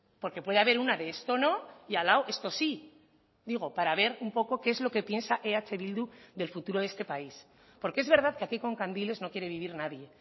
porque puede haber una de esto no y al lado esto sí digo para ver un poco que es lo que piensa eh bildu del futuro de este país porque es verdad que aquí con candiles no quiere vivir nadie